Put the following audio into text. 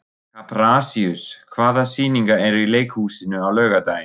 Kaprasíus, hvaða sýningar eru í leikhúsinu á laugardaginn?